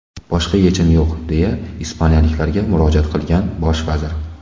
Boshqa yechim yo‘q”, deya ispaniyaliklarga murojaat qilgan bosh vazir.